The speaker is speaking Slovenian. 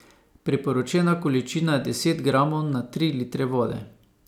Priporočena količina je deset gramov na tri litre vode.